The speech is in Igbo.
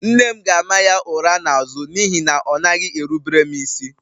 Nne m ga-ama ya ụra n'azụ n'ihi na ọ naghị erubere m isi